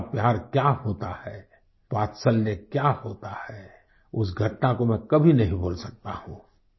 माँ का प्यार क्या होता है वात्सल्य क्या होता है उस घटना को मैं कभी नहीं भूल सकता हूँ